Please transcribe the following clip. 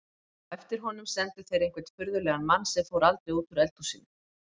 Á eftir honum sendu þeir einhvern furðulegan mann sem fór aldrei út úr eldhúsinu.